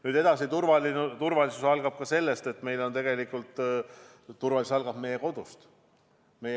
Nüüd edasi: turvalisus algab tegelikult meie kodust.